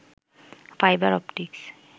fibre optics